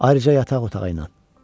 Ayrıca yataq otağı ilə.